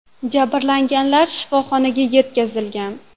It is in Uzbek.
Jabrlanganlar shifoxonaga yetkazilgan.